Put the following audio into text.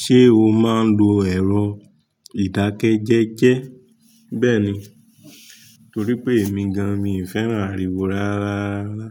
Ṣé o máa ń lo ẹ̀rọ ìdákẹ́jẹ́jẹ́? Bẹ́ẹ̀ni, torí pé èmi gan-an miì fẹ́ràn àríwó rárárarara.